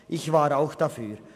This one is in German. Ich war auch dafür.